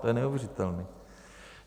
To je neuvěřitelné.